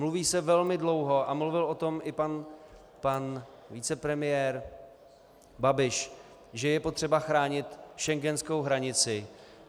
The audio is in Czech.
Mluví se velmi dlouho, a mluvil o tom i pan vicepremiér Babiš, že je potřeba chránit schengenskou hranici.